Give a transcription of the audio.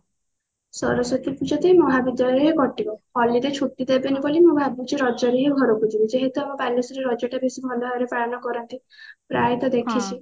ସରସ୍ଵତୀ ପୂଜା ତ ଏଇ ମହାବିଦ୍ୟାଳୟ ରେ ହିଁ କଟିବ college ରେ ଛୁଟି ଦେବେଣୀ ବୋଲି ମୁଁ ଭାବିଛି ରଜ ରେ ହିଁ ଘରକୁ ଯିବି ଯେହେତୁ ଆମ ବାଲେଶ୍ଵର ରେ ରଜ ଟା ବେସି ଭଲ ଭାବ ରେ ପାଳନ କରନ୍ତି ପ୍ରାୟତଃ ଦେଖିଛି